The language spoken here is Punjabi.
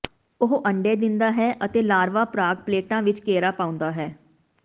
ਉਹ ਅੰਡੇ ਦਿੰਦਾ ਹੈ ਅਤੇ ਲਾਰਵਾ ਪਰਾਗ ਪਲੇਟਾਂ ਵਿੱਚ ਘੇਰਾ ਪਾਉਂਦਾ ਹੈ